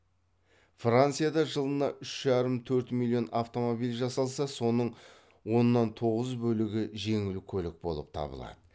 францияда жылына үш жарым төрт миллион автомобиль жасалса соның оннан тоғыз бөлігі жеңіл көлік болып табылады